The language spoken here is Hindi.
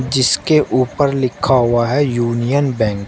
जिसके ऊपर लिखा हुआ है यूनियन बैंक ।